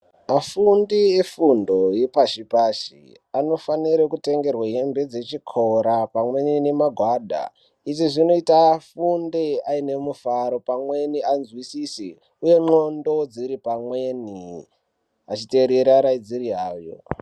Afundi efundo ye pashi pashi ano fanire ku tengerwe hembe dze chikora pamweni ne magwada izvi zvinoita afunde aine mufaro pamweni anzwisise uye ndxondo dziri pamweni achi terera araidziri awo.